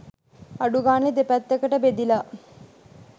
අඩු ගානේ දෙපැත්තකට බෙදිලා